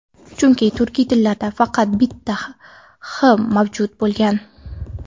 Chunki turkiy tillarda faqat bitta h mavjud bo‘lgan.